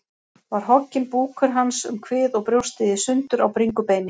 Var hogginn búkur hans um kvið og brjóstið í sundur á bringubeini.